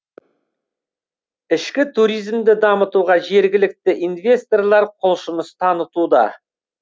ішкі туризмді дамытуға жергілікті инвесторлар құлшыныс танытуда